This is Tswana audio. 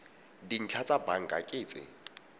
dintlha tsa banka ke tse